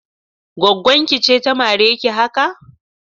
Gwaggon ki ce ta mare ki haka?